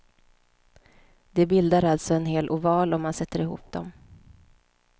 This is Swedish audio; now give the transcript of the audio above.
De bildar alltså en hel oval om man sätter ihop dem.